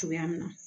Cogoya min na